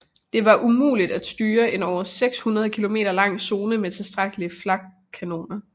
Det var umuligt at udstyre en over 600 km lang zone med tilstrækkelige flakkanoner